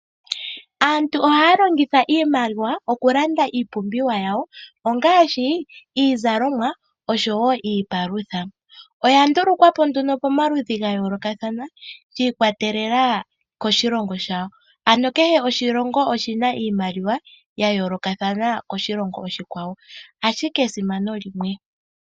Aantu ohaya longitha iimaliwa okulanda iipumbiwa yawo ongaashi iizalomwa oshowo iipalutha. Oya ndulukwapo nduno pomaludhi ga yoolokathana shi ikwatelela koshilongo shayo ano kehe oshilongo oshina iimaliwa ya yoolokathana koshilongo oshikwawo ashike esimano limwe.